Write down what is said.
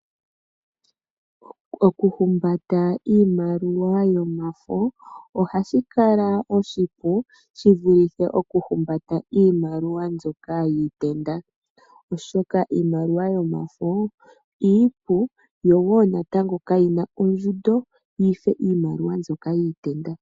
Okuhumbata iimaliwa yomafo ohashi kala oshipu shiv ulithe okuhumbata iimaliwa mbyoka yiitenda , oshoka iimaliwa yomafo iipu yo woo natango kayi na ondjundo yife iimaliwa mbyoka yiitenda.